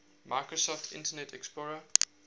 microsoft internet explorer